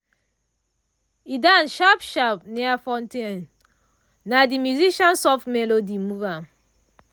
e dance sharp sharp near fountain na de musician soft melody move ahm.